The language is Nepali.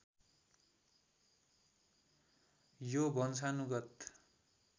यो वंशानुगत